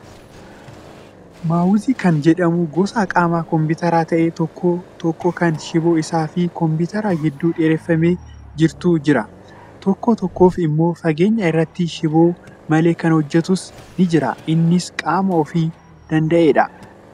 Maawusii kan jedhamu gosa qaama kompiitaraa ta'ee tokko tokko kan shiboo isaa fi kompiitara gidduu dheereffamee jirutu jira. Tokko tokkoof immoo fageenya irratti shiboo malee kan hojjatus ni jira. Innis qaama of danda'eedha.